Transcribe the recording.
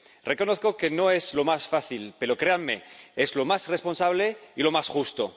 Reconozco que no es lo más fácil, pero, créanme, es lo más responsable y lo más justo.